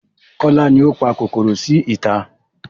Kola ni ó pa kòkòrò sí ìta